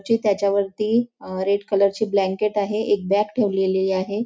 ती त्याच्यावरती अ रेड कलर ची ब्लॅंकेट आहे एक बॅग ठेवलेली आहे.